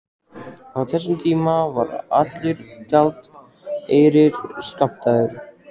Á þessum tíma var allur gjaldeyrir skammtaður.